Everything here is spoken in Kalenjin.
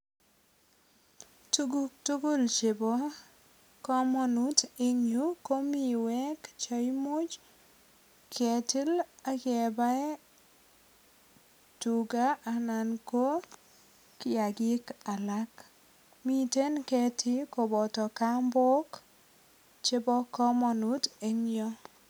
Tuguk tugul chebo kamanut en yu ko miwek che imuch ketil ak kebaen tuga anan ko kiagik alak. Miten ketiik koboto kambok chebo kamanut eng yu.